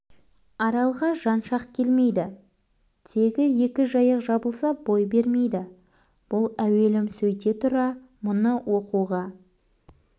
аралға жан шақ келмейді тегі екі жайық жабылса бой бермейді бұл әуелім сөйте тұра мұны оқуға